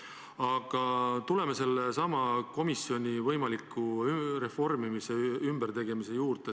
Aga tuleme sellesama komisjoni võimaliku reformimise, ümbertegemise juurde.